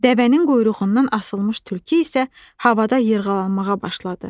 Dəvənin quyruğundan asılmış tülkü isə havada yırğalanmağa başladı.